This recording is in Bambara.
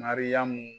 Mariyamu